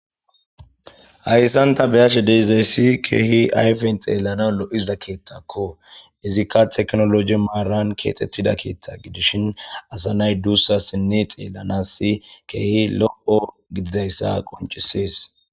hayssanta beyashe deizayssi keehi ayfen xeellana lo7iza keettakko izikka teknoloji maaran keexxettida keeththa gidishin asa nay duussa sinne xeellanassi keehi lo7o gididayssa qoncisis